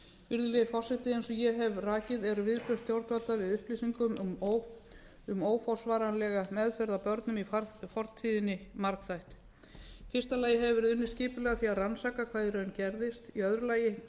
virðulegi forseti eins og ég hef rakið eru viðbrögð stjórnvalda við upplýsingum um óforsvaranlega meðferð á börnum í fortíðinni margþætt í fyrsta lagi hefur verið unnið skipulega að því að rannsaka hvað í raun gerðist í öðru lagi